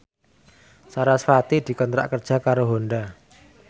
sarasvati dikontrak kerja karo Honda